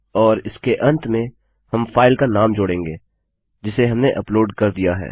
और उसके अंत में हम फाइल का नाम जोड़ेंगे जिसे हमने अपलोड कर दिया है